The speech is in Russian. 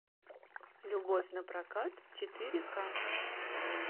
любовь на прокат четыре ка